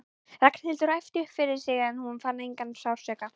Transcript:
Ragnhildur æpti upp yfir sig en hún fann engan sársauka.